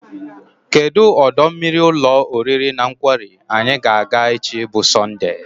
Kedụ ọdọ mmiri ụlọ oriri na nkwari anyị ga-aga echi bụ Sọndee?